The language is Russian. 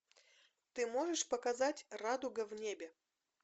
ты можешь показать радуга в небе